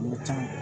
Mɔgɔ caman